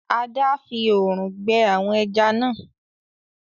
Ada! fí òòrùn gbẹ àwọn ejá nà.